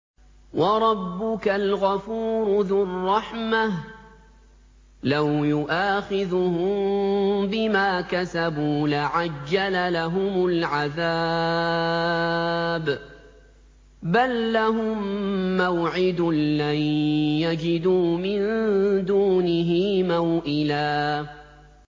وَرَبُّكَ الْغَفُورُ ذُو الرَّحْمَةِ ۖ لَوْ يُؤَاخِذُهُم بِمَا كَسَبُوا لَعَجَّلَ لَهُمُ الْعَذَابَ ۚ بَل لَّهُم مَّوْعِدٌ لَّن يَجِدُوا مِن دُونِهِ مَوْئِلًا